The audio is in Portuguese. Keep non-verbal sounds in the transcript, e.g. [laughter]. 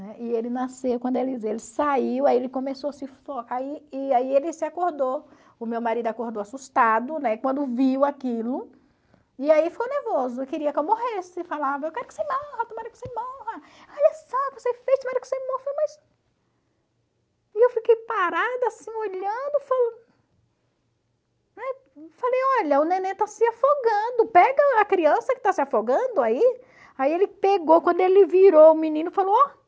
[unintelligible] ele nasceu, quando ele saiu, aí ele começou a se [unintelligible] aí ele se acordou, o meu marido acordou assustado, né, quando viu aquilo, e aí ficou nervoso, queria que eu morresse, falava, eu quero que você morra, tomara que você morra, olha só o que você fez, [unintelligible] que você morra, mas e eu fiquei parada assim, olhando, [unintelligible] né, falei olha, o neném está se afogando, pega a criança que está se afogando aí, aí ele pegou, quando ele virou o menino, falou, ó,